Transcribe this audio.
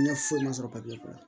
Diinɛ foyi ma sɔrɔ